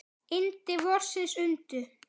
Yndi vorsins undu.